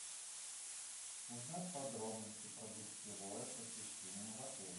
узнать подробности про гостевое посещение в отеле